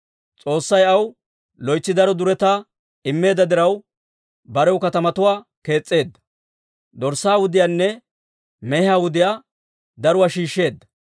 S'oossay aw loytsi daro duretaa immeedda diraw, barew katamatuwaa kees's'eedda; dorssaa wudiyaanne mehiyaa wudiyaa daruwaa shiishsheedda.